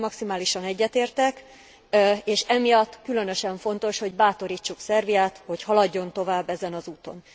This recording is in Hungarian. Ezzel maximálisan egyetértek, és emiatt különösen fontos, hogy bátorítsuk Szerbiát, hogy haladjon tovább ezen az úton.